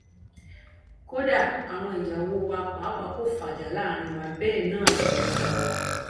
kódà àwọn ìyàwó wa pàápàá kò fàjà láàrin wa bẹẹ náà làwọn ọmọ wa